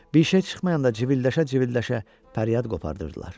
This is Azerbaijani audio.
Bir şey çıxmayanda civilləşə-civilləşə fəryad qopardırdılar.